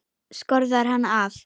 Skorðar hann af.